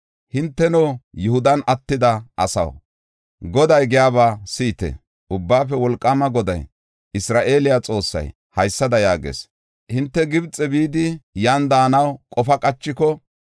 hinteno, Yihudan attida asaw, Goday giyaba si7ite. Ubbaafe Wolqaama Goday, Isra7eele Xoossay haysada yaagees: ‘Hinte Gibxe bidi, yan daanaw qofa qachiko,